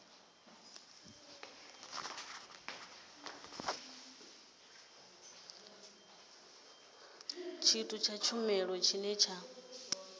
tshithu tsha vhumalo tshine tsha